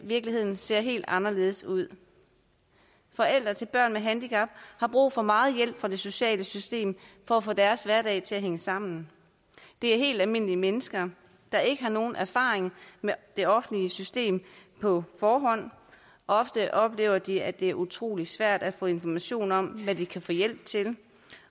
virkeligheden ser helt anderledes ud forældre til børn med handicap har brug for meget hjælp fra det sociale system for at få deres hverdag til at hænge sammen det er helt almindelige mennesker der ikke har nogen erfaring med det offentlige system på forhånd og ofte oplever de at det er utrolig svært at få information om hvad de kan få hjælp til